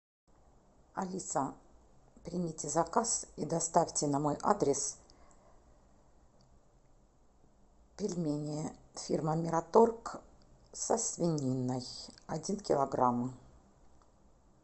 алиса примите заказ и доставьте на мой адрес пельмени фирмы мираторг со свининой один килограмм